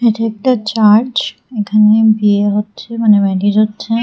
এটা একটা চার্চ এখানে বিয়ে হচ্ছে মানে ম্যারেজ হচ্ছে।